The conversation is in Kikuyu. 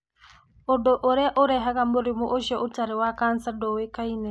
Ũndũ ũrĩa ũrehaga mũrimũ ũcio ũtarĩ wa kansa ndũĩkaine.